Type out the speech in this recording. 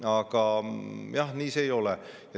Aga jah, nii see ei ole.